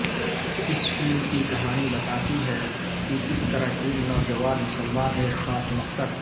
اس فلم کی کہانی بتاتی ہے کہ کس طرح تین نوجوان مسلمان ایک خاص مقصد